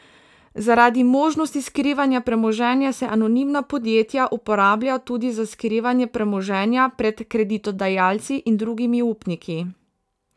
Zaradi možnosti skrivanja premoženja se anonimna podjetja uporablja tudi za skrivanje premoženja pred kreditodajalci in drugimi upniki.